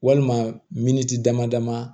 Walima miniti dama dama